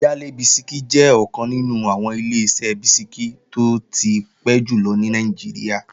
Yale bisikí jẹ́ ọ̀kan nínú àwọn Ileṣẹ́ bisikí tó ti pẹ́ jùlọ ní Nàìjíríà